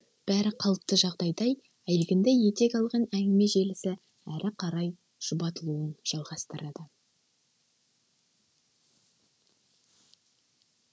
бәрі қалыпты жағдайдай әлгінде етек алған әңгіме желісі әрі қарай шұбатылуын жалғастырады